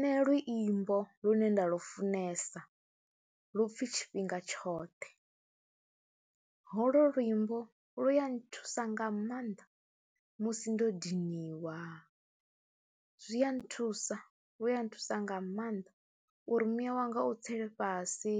Nṋe luimbo lune nda lufunesa lu pfhi tshifhinga tshoṱhe holo luimbo lu ya nthusa nga maanḓa musi ndo ḓiniwa, zwi a nthusa, lu ya nthusa nga maanḓa uri muya wanga u tsele fhasi.